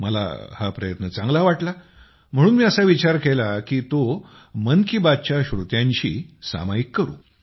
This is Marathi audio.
मला हा प्रयत्न चांगला वाटला म्हणून मी असा विचार केला की तो मन की बातच्या श्रोत्यांशी सामायिक करू